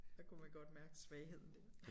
Der kunne man godt mærke svagheden der